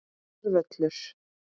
Góður völlur.